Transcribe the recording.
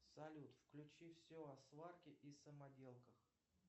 салют включи все о сварке и самоделках